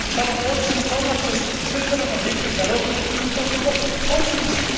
Została odrzucona przez zdecydowaną większość narodu i to w sposób oczywisty.